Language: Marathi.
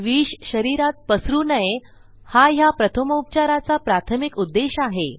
विष शरीरात पसरू नये हा ह्या प्रथमोपचाराचा प्राथमिक उद्देश आहे